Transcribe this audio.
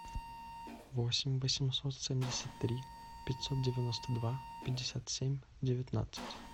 восемь восемьсот семьдесят три пятьсот девяносто два пятьдесят семь девятнадцать